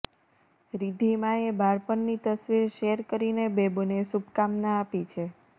રિદ્ધિમાએ બાળપણની તસવીર શેર કરીને બેબોને શુભકામના આપી છે